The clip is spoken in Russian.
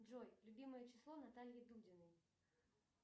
джой любимое число натальи дудиной